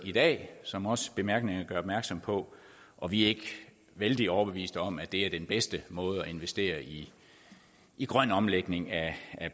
i dag som også bemærkningerne gør opmærksom på og vi er ikke vældig overbeviste om at det er den bedste måde at investere i i grøn omlægning af